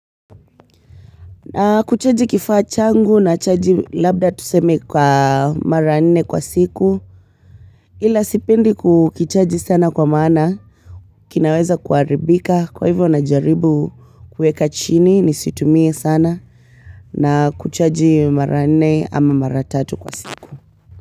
Na kuchaji kifaa changu nachaji labda tuseme kwa mara nne kwa siku ila sipendi kukichaji sana kwa maana kinaweza kuharibika kwa hivyo najaribu kueka chini nisitumie sana na kuchaji marane ama maratatu kwa siku.